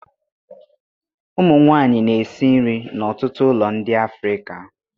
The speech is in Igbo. Ụmụ nwanyị na-esi nri n'ọtụtụ ụlọ ndị Afrịka